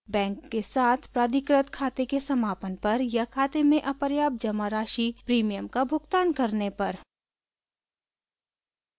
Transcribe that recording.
bank के साथ प्राधिकृत खाते के समापन पर या खाते में अपर्याप्त जमा राशि प्रीमियम का भुगतान करने पर